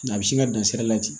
A bɛ sin ka dan sira la ten